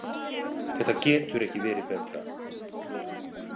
Þetta getur ekki verið betra.